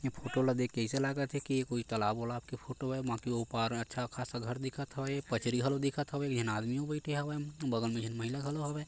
ए photo ल देख के अइसे लागा थे की ये कोई तालाब वलाब के फोटो हैं ओ पार अच्छा खासा घर दिखत हवे पचरी घलो दिखत हवे एक झन आदमी यो बईथे हवय बगल मे एक झन महिला घलो हवय।